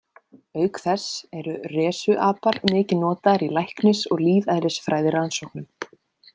Auk þess eru rhesusapar mikið notaðir í læknis- og lífeðlisfræðirannsóknum.